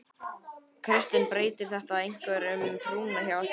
Kristinn: Breytir þetta einhverju um trúna hjá ykkur?